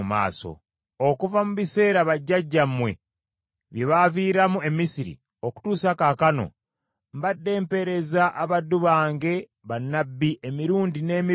Okuva mu biseera bajjajjammwe bye baaviiramu e Misiri okutuusa kaakano, mbadde mpeereza abaddu bange bannabbi emirundi n’emirundi.